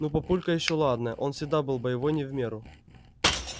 ну папулька ещё ладно он всегда был боевой не в меру